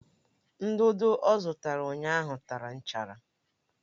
Ndudu ọ zụtara ụnyaahụ tara nchara